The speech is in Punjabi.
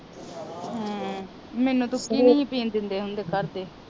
ਹਮ ਮੈਨੂੰ ਤੇ ਊਕੀ ਨੀ ਹੀ ਪੀਣ ਦਿੰਦੇ ਹੁੰਦੇ ਘਰਦੇ